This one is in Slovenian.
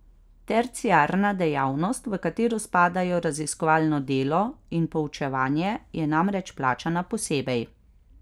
Terciarna dejavnost, v katero spadajo raziskovalno delo in poučevanje, je namreč plačana posebej.